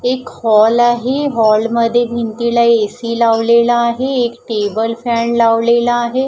एक हॉल आहे हॉलमध्ये भिंतीला ए_सी लावलेला आहे एक टेबल फॅन लावलेला आहे.